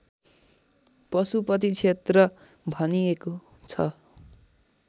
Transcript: पशुपति क्षेत्र भनिएको छ